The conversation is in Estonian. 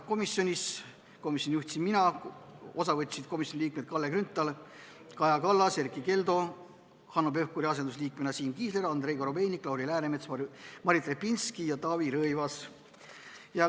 Komisjoni istungit juhtisin mina, osa võtsid komisjoni liikmed Kalle Grünthal, Kaja Kallas, Erkki Keldo, Hanno Pevkuri asendusliikmena Siim Kiisler, Andrei Korobeinik, Lauri Läänemets, Martin Repinski ja Taavi Rõivas.